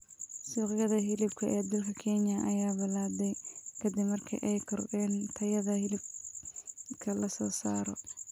Suuqyada hilibka ee dalka Kenya ayaa balaadhay kadib markii ay kordheen tayada hilibka la soo saaro.